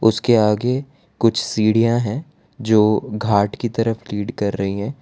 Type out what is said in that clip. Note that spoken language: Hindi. उसके आगे कुछ सीढ़ियां हैं जो घाट की तरफ लीड कर रही हैं।